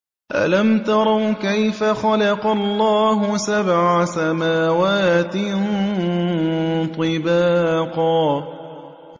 أَلَمْ تَرَوْا كَيْفَ خَلَقَ اللَّهُ سَبْعَ سَمَاوَاتٍ طِبَاقًا